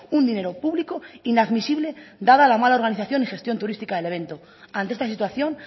un dinero público inadmisible dada la mala organización y gestión turística del evento ante esta situación